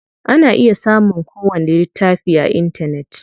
Ana iya samun ko wani littafi a intanet.